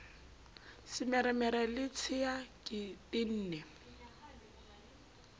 semeremere le tshea ke tene